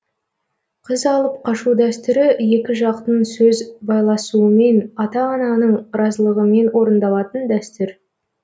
қыз алып қашу дәстүрі екі жақтың сөз байласуымен ата ананың разылығымен орындалатын дәстүр